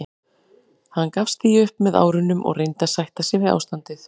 Hann gafst því upp með árunum og reyndi að sætta sig við ástandið.